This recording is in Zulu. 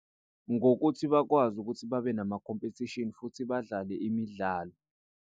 Ngokuthi bakwazi ukuthi babe nama khompethishini futhi badlale imidlalo.